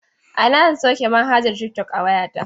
A ina zan sauke manhajar tiktok a wayata?